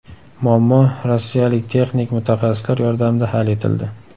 Muammo rossiyalik texnik mutaxassislar yordamida hal etildi.